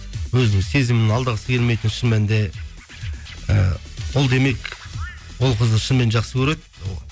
өзінің сезімін алдағысы келмейтін шын мәнінде і ол демек ол қызды шынымен жақсы көреді